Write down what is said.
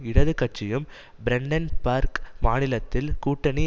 இடது கட்சியும் பிராண்டன்பேர்க் மாநிலத்தில் கூட்டணி